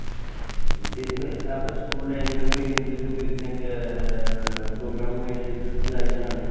ଏମିତି ହୁଏ ତାପରେ school time ରେ ବି ଏମିତି ବି picnic ଏଁ picnic programme ହୁଏ ସେଇଥିରେ ତୁ ଯାଇଛୁ ନା ?